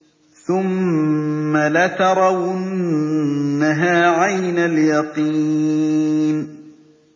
ثُمَّ لَتَرَوُنَّهَا عَيْنَ الْيَقِينِ